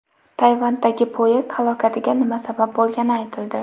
Tayvandagi poyezd halokatiga nima sabab bo‘lgani aytildi.